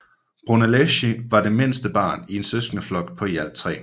Brunelleschi var det midterste barn i en søskendeflok på i alt tre